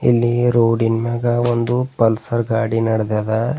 ಇಲ್ಲಿ ರೋಡಿ ನ್ ಮ್ಯಾಗ ಒಂದು ಪಲ್ಸರ್ ಗಾಡಿ ನಡೆದಾದ.